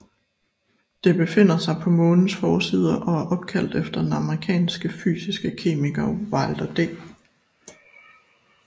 Det befinder sig på Månens forside og er opkaldt efter den amerikanske fysiske kemiker Wilder D